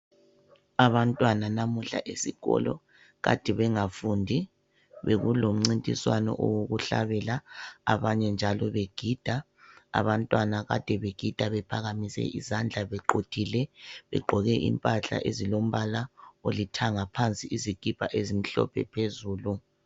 Abantwana namuhla esikolo kade bengafundi bekulo mcintiswano owokuhlabela abanye njalo begida, abantwana kade begida bephakamise izandla bequthile begqoke impahla ezilombala olithanga phansi izikipa ezimhlophe phezulu.